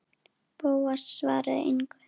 Bóas svaraði engu.